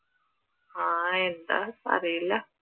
ആഹ് എന്താ അറിയില്ല